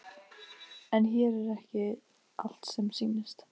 En hér er ekki allt sem sýnist.